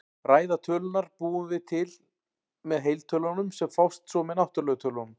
Ræðu tölurnar búum við til með heiltölunum, sem fást svo með náttúrlegu tölunum.